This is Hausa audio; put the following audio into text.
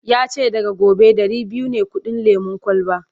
yace daga gobe Dari biyu ne kudin lemun kwalba